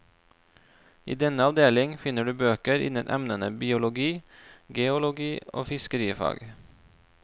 I denne avdeling finner du bøker innen emnene biologi, geologi og fiskerifag.